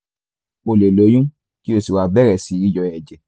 o lè lóyún kí o sì wá bẹ̀rẹ̀ sí í yọ ẹ̀jẹ̀